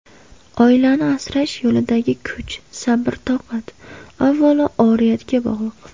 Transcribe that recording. Oilani asrash yo‘lidagi kuch, sabr-toqat, avvalo oriyatga bog‘liq.